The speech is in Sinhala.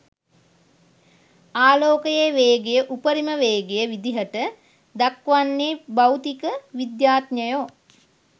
ආලෝකයේ වේගය උපරිම වේගය විදිහට දක්වන්නේ භෞතික විද්‍යාඥයෝ.